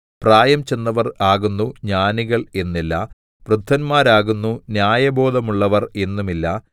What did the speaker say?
പ്രായം ചെന്നവർ ആകുന്നു ജ്ഞാനികൾ എന്നില്ല വൃദ്ധന്മാരാകുന്നു ന്യായബോധമുള്ളവർ എന്നുമില്ല